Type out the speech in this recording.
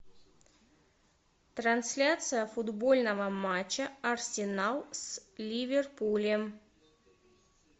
трансляция футбольного матча арсенал с ливерпулем